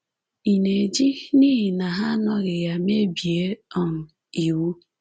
Ị̀ na-eji n’ihi na ha anọghị ya mebie um iwu?